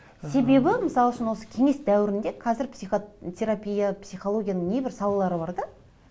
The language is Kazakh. себебі мысал үшін осы кеңес дәуірінде қазір психотерапия психологияның небір салалары бар да